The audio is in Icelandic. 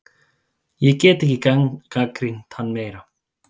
Ég get ekki gagnrýnt hann meira.